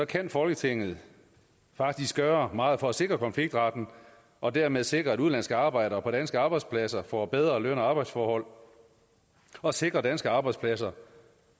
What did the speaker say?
kan folketinget faktisk gøre meget for at sikre konfliktretten og dermed sikre at udenlandske arbejdere på danske arbejdspladser får bedre løn og arbejdsforhold og sikre danske arbejdspladser